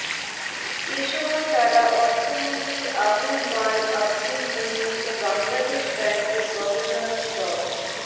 এ সময় তারা অর্থমন্ত্রী আবুল মাল আব্দুল মুহিত ও বাংলাদেশ ব্যাংকের গভর্নর ড